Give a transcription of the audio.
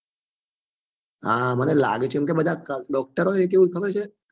હા મને લાગે છે કેમ કે બધા doctor હોય ને એ કેવું ખબર છે